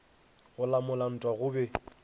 go lamola ntwa go be